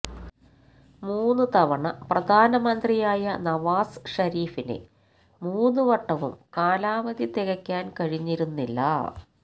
മൂന്നു തവണ പ്രധാനമന്ത്രിയായ നവാസ് ഷരീഫിന് മൂന്നുവട്ടവും കാലാവധി തികയ്ക്കാൻ കഴിഞ്ഞിരുന്നില്ല